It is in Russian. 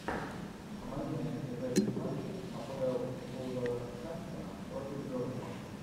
помоги найти запись матча апл вулверхэмптона против бернли